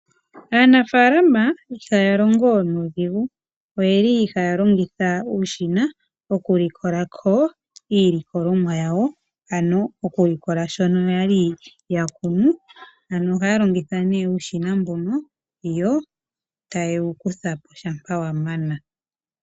Aanafaalama ihaya longo nuudhigu ,oyeli haya longitha uushina okulikolako iilikolomwa yowa, ano okulikola shono yali yakunu, ano ohaya longitha nee uushina mbono yotaye wukutha shama wamana.